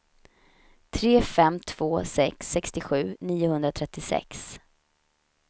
tre fem två sex sextiosju niohundratrettiosex